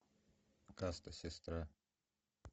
каста сестра